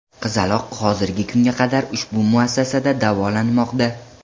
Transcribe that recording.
Qizaloq hozirgi kunga qadar ushbu muassasada davolanmoqda.